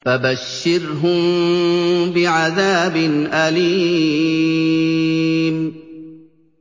فَبَشِّرْهُم بِعَذَابٍ أَلِيمٍ